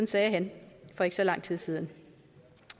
sagde han for ikke så lang tid siden